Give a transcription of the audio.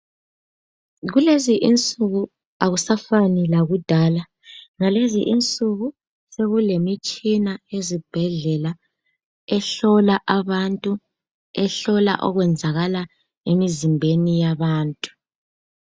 kulezi insuku akusafani lakudala ngalezi insuku sekulemitshina ezibhedlela ehlola abantu ehlola okwenzakala emizimbeni yabantu